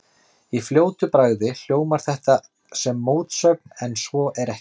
Í fljótu bragði hljómar þetta sem mótsögn en svo er ekki.